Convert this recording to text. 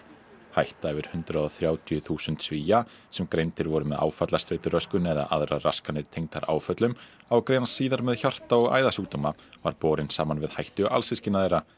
hætta yfir hundrað og þrjátíu þúsund Svía sem greindir voru með áfallastreituröskun eða aðrar raskanir tengdar áföllum á að greinast síðar með hjarta og æðasjúkdóma var borin saman við hættu alsystkina þeirra